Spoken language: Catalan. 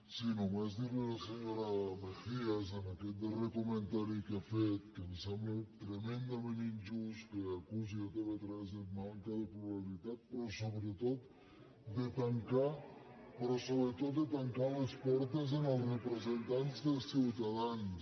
sí només dir a la senyora mejías per aquest darrer comentari que ha fet que em sembla tremendament injust que acusi tv3 de manca de pluralitat però so·bretot de tancar les portes als representants de ciuta·dans